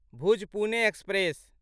Bhuj Pune express